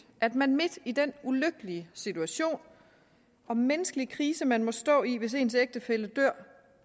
at man midt i den ulykkelige situation og menneskelige krise man må stå i hvis ens ægtefælle dør